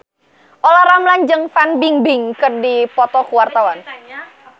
Olla Ramlan jeung Fan Bingbing keur dipoto ku wartawan